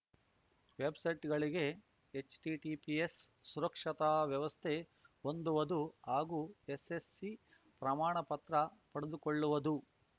ವೆಬ್‌ಸೈಟ್‌ಗಳಿಗೆ HTTPS ಸುರಕ್ಷತಾ ವ್ಯವಸ್ಥೆ ಹೊಂದುವುದು ಹಾಗೂ ಎಸ್‌ಎಸ್‌ಸಿ ಪ್ರಮಾಣಪತ್ರ ಪಡೆದುಕೊಳ್ಳುವುದು